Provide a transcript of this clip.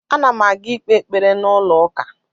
Ana m aga ikpe ekpere n’ụlọ ụka